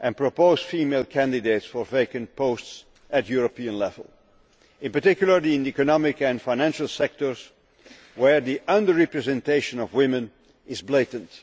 and propose female candidates for vacant posts at European level, in particular in the economic and financial sectors, where the under representation of women is blatant.